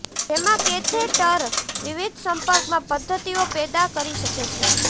જેમાં કેથેટર વિવિધ સંપર્કમાં પદ્ધતિઓ પેદા કરી શકે છે